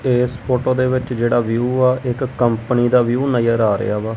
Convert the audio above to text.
ਇਸ ਫੋਟੋ ਦੇ ਵਿੱਚ ਜਿਹੜਾ ਵਿਊ ਆ ਇੱਕ ਕੰਪਨੀ ਦਾ ਵਿਊ ਨਜ਼ਰ ਆ ਰਿਹਾ ਵਾ।